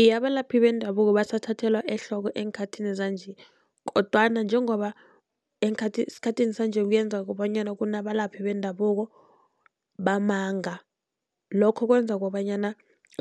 Iye, abalaphi bendabuko basathathelwa ehloko eenkhathini zanje. Kodwana njengoba esikhathini sanje kuyenzaka bonyana kunabalaphi bendabuko bamanga, lokho kwenza kobanyana